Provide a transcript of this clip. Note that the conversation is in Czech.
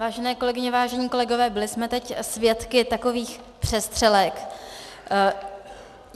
Vážené kolegyně, vážení kolegové, byli jsme teď svědky takových přestřelek.